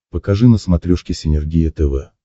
покажи на смотрешке синергия тв